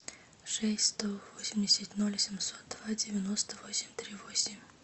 шесть сто восемьдесят ноль семьсот два девяносто восемь три восемь